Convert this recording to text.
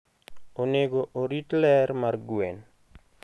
Onego orit ler mar gwen.